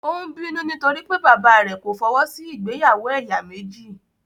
Ó ń bínú nítorí pé bàbáà rẹ̀ kò fọwọ́ sí ìgbéyàwó ẹ̀yà méjì.